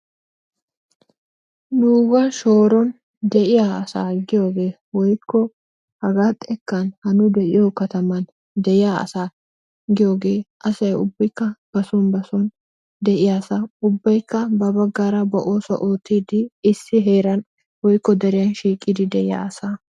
Nuga shoroni de'iyaa asa giyogee woyko hagaa xeken ha nu de'iyo kataman de'eya asa giyogee asay ubuki ba son ba bason de'iy asa ubaykka ba osuwaa ottidi ba bagarraa issi herani woyko deriyani shiqidi de'iyasa.